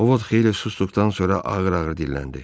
Ovod xeyli susduqdan sonra ağır-ağır dilləndi.